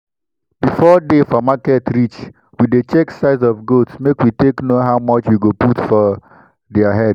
before day for market reach we dey check size of goats make we take know how much we go put for diir head.